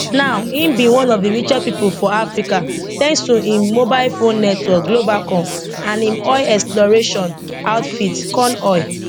now im be one of di richest pipo for africa thanks to im mobile phone network globacom and im oil exploration outfit conoil